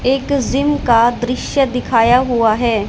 एक जिम का दृश्य दिखाया हुआ है।